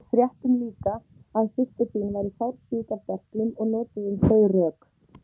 Við fréttum líka að systir þín væri fársjúk af berklum og notuðum þau rök.